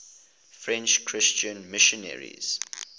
french christian missionaries